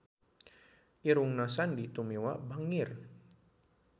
Irungna Sandy Tumiwa bangir